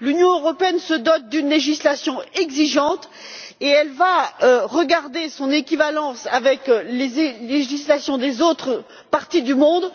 L'Union européenne se dote d'une législation exigeante et elle entend vérifier son équivalence avec les législations des autres parties du monde